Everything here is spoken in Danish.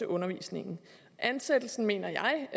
undervisningen ansættelsen mener